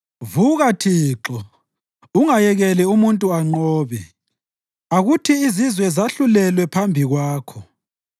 Vuka Thixo, ungayekeli umuntu anqobe; akuthi izizwe zahlulelwe phambi kwakho.